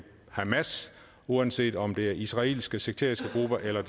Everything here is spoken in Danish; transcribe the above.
hamas uanset om det er israelske sekteriske grupper eller